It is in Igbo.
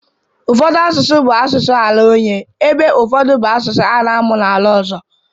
Ụfọdụ asụsụ bụ asụsụ ala onye ebe ụfọdụ bụ asụsụ a na-amụ n'ala ọzọ.